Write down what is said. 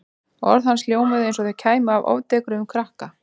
Orð hans hljómuðu eins og þau kæmu frá ofdekruðum krakka.